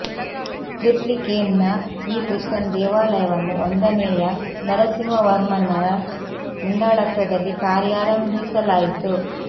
ಟ್ರಿಪ್ಲಿಕೇನ್ ನ ಈ ಕೃಷ್ಣನ ದೇವಾಲಯವನ್ನು ಒಂದನೇಯ ನರಸಿಂಹವರ್ಮನ್ನರ ಮುಂದಾಳತ್ವದಲ್ಲಿ ಕಾರ್ಯಾರಂಭಿಸಲಾಯಿತು